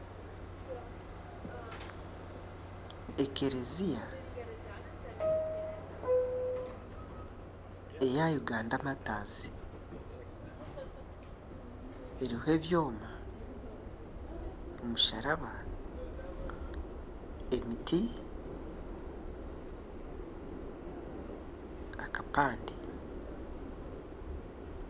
Ekereziya eya Uganda Mataazi eriho ebyoma, omusharaba , emiti n'akapande.